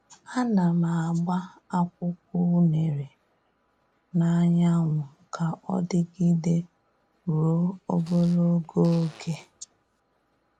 A na m agba akwụkwọ unere n'anyanwu ka ọ dịgide ruo ogologo oge.